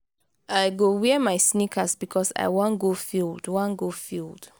i go wear my sneakers because i wan go field. wan go field.